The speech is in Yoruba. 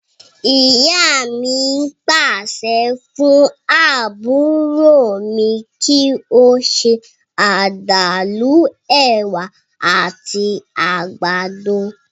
Ìyá mi pàṣẹ fún àbúrò mi kí ó ṣe àdàlú, èwà àti àgbàdo